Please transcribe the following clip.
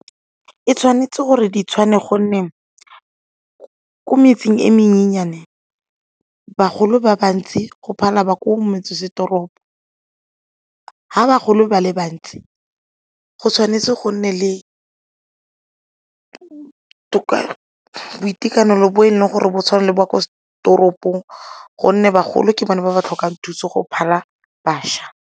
E tshwanetse gore di tshwane gonne ko metseng e menyennyane bagolo ba bantsi go phala ba ko metsesetoropo, ga bagolo ba le bantsi go tshwanetse go nne le boitekanelo bo e leng gore bo tshwana le bo kwa toropong gonne bagolo ke bone ba ba tlhokang thuso go phala bašwa.